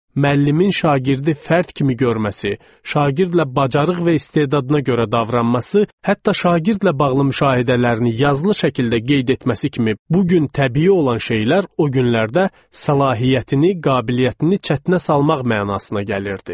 Müəllimin şagirdi fərd kimi görməsi, şagirdlə bacarıq və istedadına görə davranması, hətta şagirdlə bağlı müşahidələrini yazılı şəkildə qeyd etməsi kimi bu gün təbii olan şeylər o günlərdə səlahiyyətini, qabiliyyətini çətinə salmaq mənasına gəlirdi.